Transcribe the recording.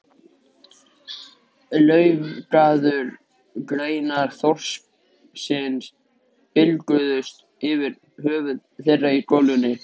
Laufgaðar greinar þorpsins bylgjuðust yfir höfðum þeirra í golunni.